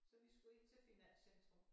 Så vi skulle ind til finanscentrum